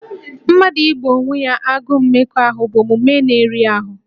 Mmadụ igbò onwe ya agụụ mmekọahụ bụ omume na-eri ahụ